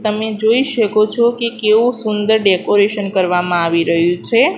તમે જોઈ શકો છો કે કેવું સુંદર ડેકોરેશન કરવામાં આવી રહ્યું છે.